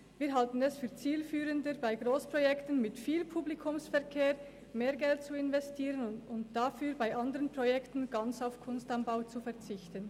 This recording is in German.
Wir halten es für zielführender, bei Grossprojekten mit viel Publikumsverkehr mehr Geld zu investieren und dafür bei anderen Projekten ganz auf «Kunst am Bau» zu verzichten.